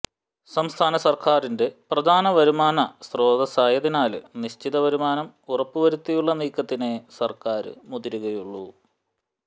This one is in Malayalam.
സംസ്ഥാന സർക്കാരിന്റെ പ്രധാനവരുമാന സ്രോതസായതിനാല് നിശ്ചിതവരുമാനം ഉറപ്പുവരുത്തിയുള്ള നീക്കത്തിനേ സര്ക്കാര് മുതിരുകയുള്ളു